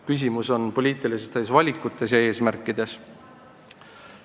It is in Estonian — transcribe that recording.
Küsimus on poliitilistes valikutes ja eesmärkides.